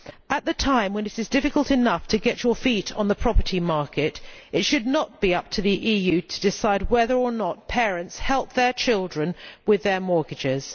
At a time when it is difficult enough to get your feet on the property market, it should not be up to the EU to decide whether or not parents help their children with their mortgages.